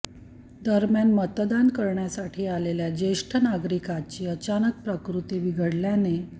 दरम्यान मतदान करण्यासाठी आलेल्या ज्येष्ठ नागरिकाचा अचानक प्रकृती बिघडल्याने